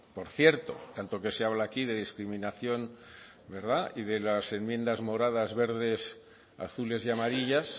por cierto tanto que se habla aquí de discriminación verdad y de las enmiendas moradas verdes azules y amarillas